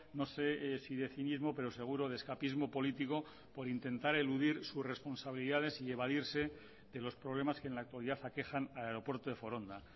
no sé si de cinismo pero seguro de escapismo político por intentar eludir sus responsabilidades y evadirse de los problemas que en la actualidad aquejan al aeropuerto de foronda